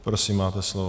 Prosím, máte slovo.